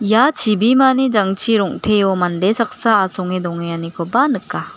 ia chibimani jangchi rong·teo mande saksa asonge dongenganikoba nika.